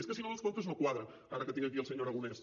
és que si no els comptes no quadren ara que tinc aquí el senyor aragonès